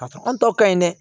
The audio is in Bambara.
Ka sɔrɔ anw ta ka ɲi dɛ